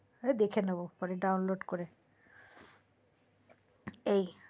আরে দেখে নেবো পরে ডাউনলোড করে এই